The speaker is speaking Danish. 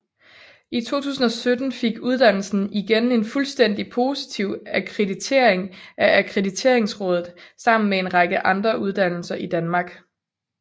I 2017 fik uddannelsen igen en fuldstændig positiv akkreditering af Akkrediteringsrådet sammen med en række andre uddannelser i Danmark